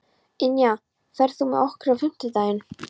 Ynja, ferð þú með okkur á fimmtudaginn?